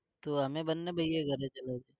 તો અમે બંને ભાઈઓ